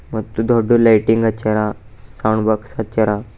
ಮತ್ತು ದೊಡ್ ಲೈಟಿಂಗ್ ಹಚ್ಯಾರ ಸೌಂಡ್ ಬಾಕ್ಸ್ ಹಚ್ಯಾರ.